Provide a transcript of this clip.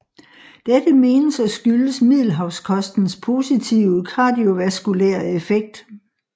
Dette menes at skyldes Middelhavskostens positive kardiovaskulære effekt